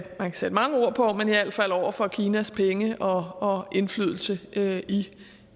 sætte mange ord på over for kinas penge og indflydelse i